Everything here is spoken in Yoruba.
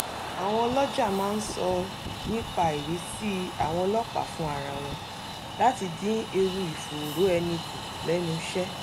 àwọn ọlọ́jà máa ń sọ nnipaìrìsí àwọn ọlọ́pàá fún ara wọn láti dín ewu ìfòòró ẹni kù lẹ́nuṣẹ́